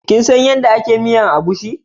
Kinsan yadda ake miyan egusi?